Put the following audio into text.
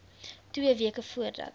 twee weke voordat